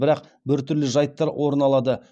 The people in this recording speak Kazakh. бірақ біртүрлі жайттар орын алады